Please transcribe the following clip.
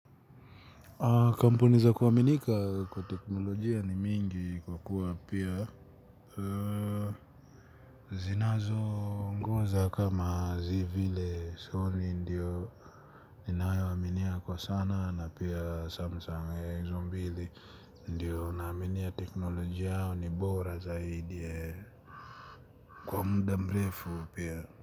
Kampuni za kuwaminika kwa teknolojia ni mingi kwa kuwa pia zinazo ngoza kama zivile soni ndiyo. Ninae waminia kwa sana na pia samsung izo mbili ndiyo naminia teknolojia yao ni bora zaidi ee. Kwa mda mrefu pia.